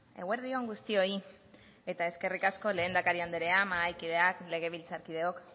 eguerdi on guztioi eta eskerrik asko lehendakari anderea mahaikideak legebiltzarkideok